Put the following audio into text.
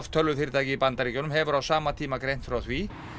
tölvufyrirtækið í Bandaríkjunum hefur á sama tíma greint frá því